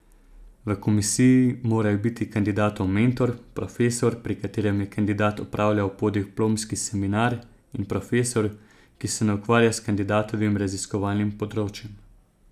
V komisiji morajo biti kandidatov mentor, profesor, pri katerem je kandidat opravljal podiplomski seminar, in profesor, ki se ne ukvarja s kandidatovim raziskovalnim področjem.